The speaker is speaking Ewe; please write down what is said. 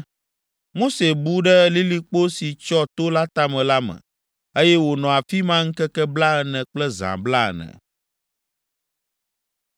Mose bu ɖe lilikpo si tsyɔ to la tame la me, eye wònɔ afi ma ŋkeke blaene kple zã blaene.